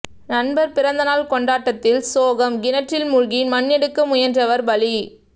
நண்பர் பிறந்தநாள் கொண்டாட்டத்தில் சோகம் கிணற்றில் மூழ்கி மண் எடுக்க முயன்றவர் பலி